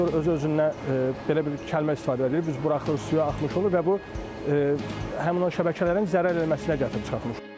Pomidor özü-özündən belə bir kəlmə istifadə edirik, biz buraxırıq suya axmış olur və bu həmin o şəbəkələrin zərər eləməsinə gətirib çıxarmış olur.